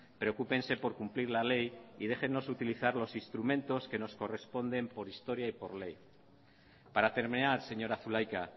preocúpense por cumplir la ley y déjennos utilizar los instrumentos que nos corresponden por historia y por ley para terminar señora zulaika